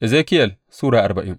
Ezekiyel Sura arbain